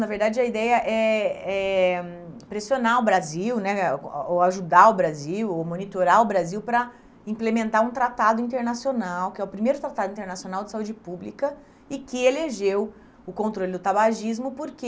Na verdade, a ideia é é pressionar o Brasil né, o ou ajudar o Brasil, ou monitorar o Brasil para implementar um tratado internacional, que é o primeiro tratado internacional de saúde pública e que elegeu o controle do tabagismo porque